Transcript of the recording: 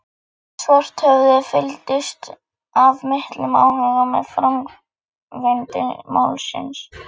Svarthöfði fylgdist af miklum áhuga með framvindu málsins.